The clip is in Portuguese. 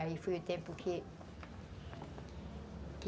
Aí foi o tempo que... que...